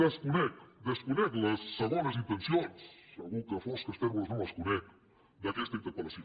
desconec desconec les segones intencions segur que fosques tèrboles no les conec d’aquesta interpellació